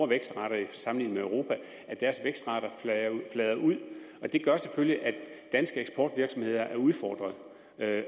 vækstrater sammenlignet med europa flader ud og det gør selvfølgelig at danske eksportvirksomheder er udfordret